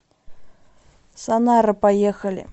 санара поехали